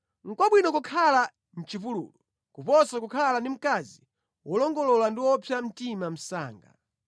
Nʼkwabwino kukhala mʼchipululu kuposa kukhala ndi mkazi wolongolola ndi wopsa mtima msanga.